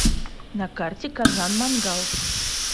на карте казан мангал